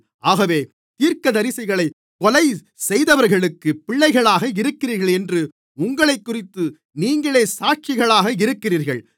ஆகவே தீர்க்கதரிசிகளைக் கொலைசெய்தவர்களுக்குப் பிள்ளைகளாக இருக்கிறீர்கள் என்று உங்களைக்குறித்து நீங்களே சாட்சிகளாக இருக்கிறீர்கள்